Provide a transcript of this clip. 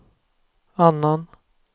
annan